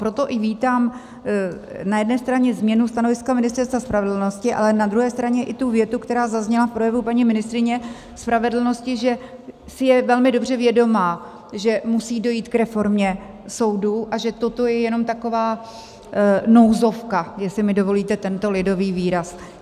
Proto i vítám na jedné straně změnu stanoviska Ministerstva spravedlnosti, ale na druhé straně i tu větu, která zazněla v projevu paní ministryně spravedlnosti, že si je velmi dobře vědoma, že musí dojít k reformě soudů, a že toto je jenom taková nouzovka, jestli mi dovolíte tento lidový výraz.